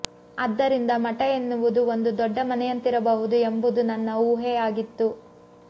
ಆದ್ದರಿಂದ ಮಠ ಎನ್ನುವುದು ಒಂದು ದೊಡ್ಡ ಮನೆಯಂತಿರಬಹುದು ಎಂಬುದು ನನ್ನ ಊಹೆಯಾಗಿತ್ತು